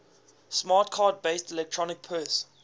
smart card based electronic purse